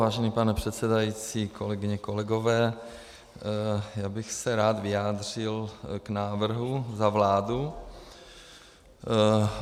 Vážený pane předsedající, kolegyně, kolegové, já bych se rád vyjádřil k návrhu za vládu.